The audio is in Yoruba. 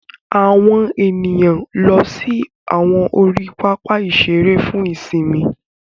Àwọn ènìyàn ló sì awọn ori papa iṣere fún ìsimi